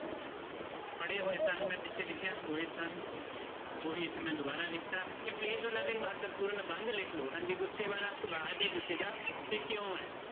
ਪੜ੍ਹੇ ਹੋਏ ਸਨ ਮੈਂ ਪਿੱਛੇ ਲਿਖਿਆ ਹੋਏ ਸਨ ਉਹੀ ਇੱਥੇ ਮੈਂ ਦੁਬਾਰਾ ਲਿਖ ਦਿੱਤਾ ਇਹ please ਉਹਨਾਂ ਦੇ ਮਹੱਤਵਪੂਰਨ ਨਿਬੰਧ ਲਿਖ ਲਓ ਹਾਂਜੀ ਗੁੱਸੇ ਵਾਲਾ ਸੁਭਾ ਜੇ ਕਿਸੇ ਦਾ, ਤੇ ਕਿਉਂ ਹੈ?